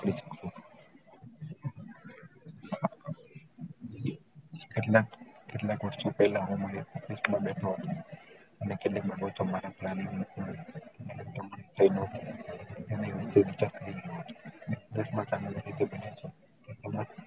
કેટલાક~કેટલાક વર્ષો પેલા